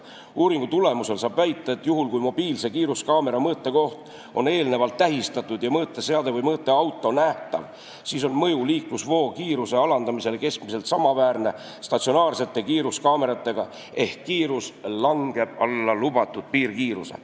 Uuringu tulemusel saab väita, et juhul kui mobiilsete kiiruskaamerate mõõtekoht on eelnevalt tähistatud ja mõõteseade või mõõteauto nähtav, siis on mõju liiklusvoo kiiruse alanemisele keskmiselt samaväärne statsionaarsete kiiruskaamerate mõjuga ehk kiirus langeb alla lubatud piirkiiruse.